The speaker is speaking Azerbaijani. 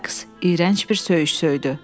Sais iyrənc bir söyüş söydü.